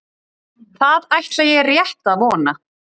Það ætla ég rétt að vona